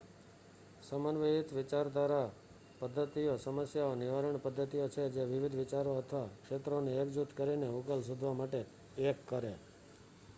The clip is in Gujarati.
સમન્વયિત વિચારપદ્ધતિઓ સમસ્યા નિવારણ પદ્ધતિઓ છે જે વિવિધ વિચારો અથવા ક્ષેત્રોને એક જૂથ કરીને ઉકેલ શોધવા માટે એક કરે